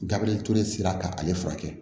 Gabiriyɛri sera ka ale furakɛ